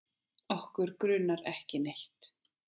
Okkur grunar ekki neitt.